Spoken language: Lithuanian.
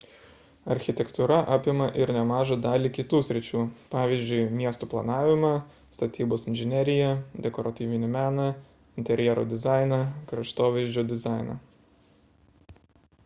architektūra apima ir nemažą dalį kitų sričių pavyzdžiui miestų planavimą statybos inžineriją dekoratyvinį meną interjero dizainą kraštovaizdžio dizainą